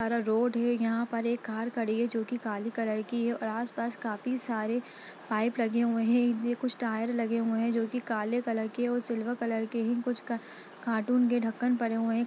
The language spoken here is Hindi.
रोड है यहां पर एक कार खड़ी है जो कि काले कलर की है और आस-पास काफी सारे पाइप लगे हुए है इनमें कुछ टायर लगे हुए है जो कि काले कलर की और सिल्वर कलर के है कुछ क-कार्टून के ढक्कन पड़े हुए है।